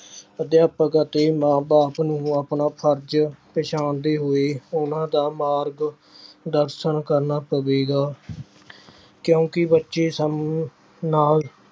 ਅਧਿਆਪਕ ਅਤੇ ਮਾਂ ਬਾਪ ਨੂੰ ਆਪਣਾ ਫ਼ਰਜ਼ ਪਛਾਣਦੇ ਹੋਏ ਉਹਨਾਂ ਦਾ ਮਾਰਗ ਦਰਸ਼ਨ ਕਰਨਾ ਪਵੇਗਾ ਕਿਉਂਕਿ ਬੱਚੇ ਸਾਨੂੰ ਨਾਲ